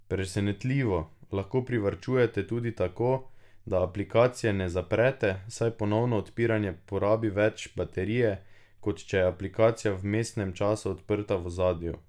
Presenetljivo lahko privarčujete tudi tako, da aplikacije ne zaprete, saj ponovno odpiranje porabi več baterije, kot če je aplikacija v vmesnem času odprta v ozadju.